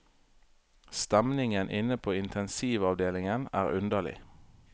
Stemningen inne på intensivavdelingen er underlig.